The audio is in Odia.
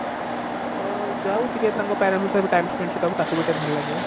ତ ଯାଉ ଟିକେ ତାଙ୍କ parents ଙ୍କ ସହ ବି time spend କରିବ ତାକୁ ଟିକେ ଭଲ ଲାଗିବ